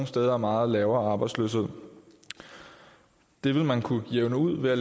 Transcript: steder meget lavere arbejdsløshed det vil man kunne jævne ud ved at